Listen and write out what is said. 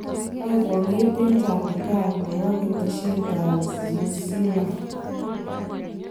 Kaek kwang'et eng' chandigarg nepo ketesheet ap Zew zealand